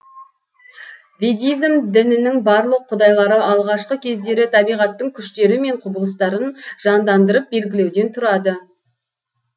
ведизм дінінің барлық құдайлары алғашқы кездері табиғаттың күштері мен құбылыстарын жандандырып белгілеуден тұрады